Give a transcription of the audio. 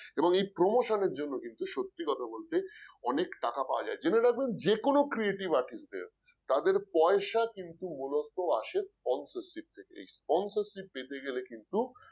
এবং এই promotion র জন্য কিন্তু সত্যি কথা বলতে অনেক টাকা পাওয়া যায় জেনে রাখবেন যে কোন creative artist র তাদের পয়সা কিন্তু মূলত আসে sponsorship থেকে এই sponsorship পেতে গেলে কিন্তু